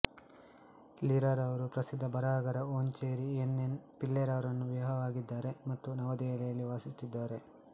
ಲೀಲಾರವರು ಪ್ರಸಿದ್ಧ ಬರಹಗಾರ Omchery N N Pillai ರವರನ್ನು ವಿವಾಹವಾಗಿದ್ದಾರೆ ಮತ್ತು ನವದೆಹಲಿಯಲ್ಲಿ ವಾಸಿಸುತ್ತಿದ್ದಾರೆ